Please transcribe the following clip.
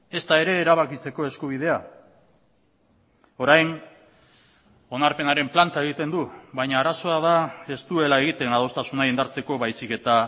ezta ere erabakitzeko eskubidea orain onarpenaren planta egiten du baina arazoa da ez duela egiten adostasuna indartzeko baizik eta